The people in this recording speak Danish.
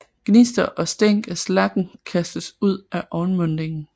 Gnister og stænk af slaggen kastes ud af ovnmundingen